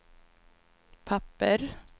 papper